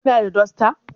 Kuna da dasta?